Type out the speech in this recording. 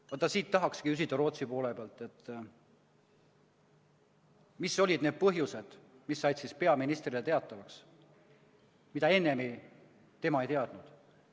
Siinkohal tahakski küsida Rootsi poolelt, mis olid need põhjused, mis said peaministrile teatavaks ja mida ta enne ei teadnud.